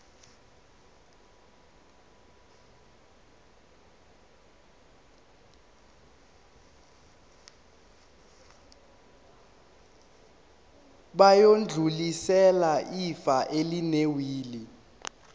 bayodlulisela ifa elinewili